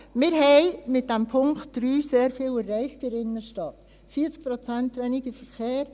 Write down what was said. Wir haben mit dem Punkt 3 sehr viel erreicht in der Innerstadt, 40 Prozent weniger Verkehr.